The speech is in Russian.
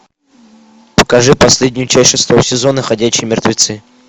покажи последнюю часть шестого сезона ходячие мертвецы